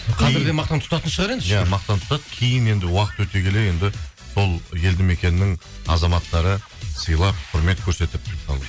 қазір де мақтан тұтатын шығар енді иә мақтан тұтады кейін енді уақыт өте келе енді сол елді мекеннің азаматтары сыйлап құрмет көрсетіп сол